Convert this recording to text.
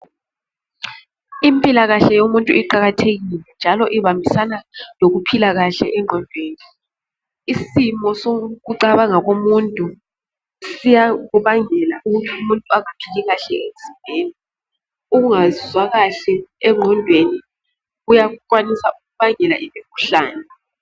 Impilakahle yomuntu iqakathekile njalo ibambisana lokuphila kahle engqondeni isimo sokucabanga komuntu siyakubangela umuntu aphile kahle emzimbeni ungezwa kahle engqondeni uyakwanisa ukubangela umkhuhlane.